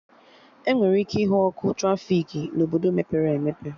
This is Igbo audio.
Enwere ike ịhụ ọkụ trafiki na Obodo mepere emepe